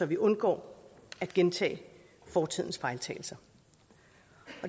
vi undgår at gentage fortidens fejltagelser